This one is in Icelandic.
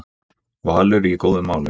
Valur í góðum málum